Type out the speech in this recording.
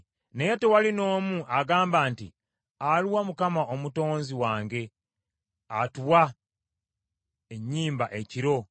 Naye tewali n’omu agamba nti, Aluwa Mukama Omutonzi wange atuwa ennyimba ekiro,